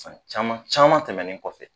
San caman caman tɛmɛnen kɔfɛ